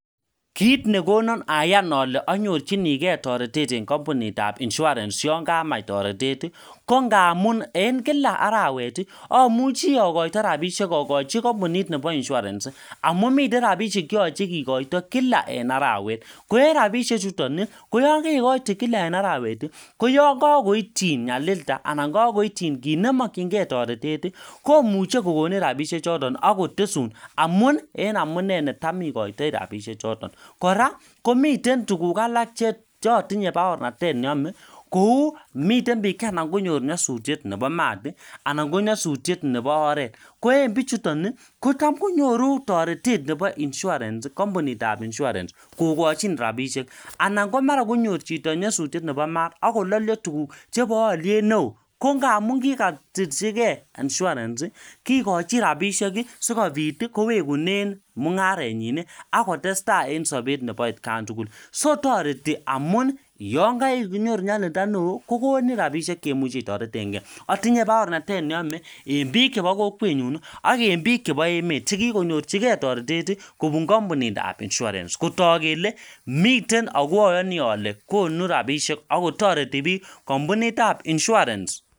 Kit nekonon Ayan ole onyorchinigee toretet en kompunitab insurance yon kamach toretet tii ko ngamun en kila arawet tii omuche ikoito rabishek okochi kompunit nebo insurance sii amun miten rabishek cheyoche kikoito Kila en arawet ko en rabishek chuton nii koyon kerikoiten kila en arawet tii koyon kokoityin nyalilda anan ko kokoityin kit nemokingee toretet tii ko komuche kokonu rabishek choton ak kotesun amun nii en amunee netam ikoitoi rabishek choton. Koraa komiten tukuk alak che otinye baornatet neome kou miten bik che ana konyor nyosutyet nebo mat tii anan ko nyosutyet nebo oret ko en bichuton nii kotam konyoru toretet en insurance sii kompunitab insurance kokochin rabishek ana komara konyor chito nyosutyet nebo mat ak kololio tukuk chebo oliet neo ko ngamun kikotiljigee insurance sii kikochi rabishek kii sikopit kowekunen mungarenyin Nii ak kotestai en sobet nebo etkan tukuk. So toreti amun yon kerinyoru yalilda neo kokonin rabishek cheimuche itoretengee, itinye baornatet neyome en bik chebo kokwenyun ak en bik chebo emet chekikonyorchigee toretet tii kobun kompunitab insurance kotok kele miten ako oyonii ole konu rabishek ak kotoreti bik kompunitab insurance.